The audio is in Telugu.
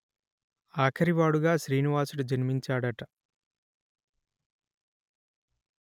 అఖరివాడుగా శ్రినివాసుడు జన్మించాడట